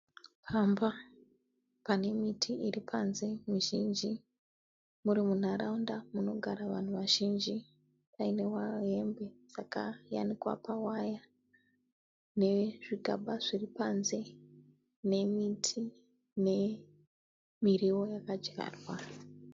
Pamba pane miti iripanze mizhinji, muri munharaunda munogara vanhu vazhinji painewo hembe dzakayanikwa pawire, nezvigaba zviripanze nemiti, nemiriwo yakadyarwa.